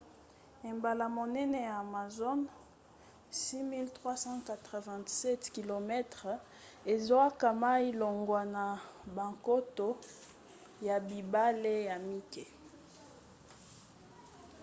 ebale monene ya amazon 6 387 km 3 980 miles. ezwaka mai longwa na bankoto ya bibale ya mike